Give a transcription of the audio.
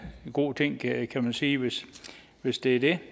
god ting kan man sige hvis hvis det er det